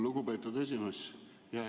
Lugupeetud esimees!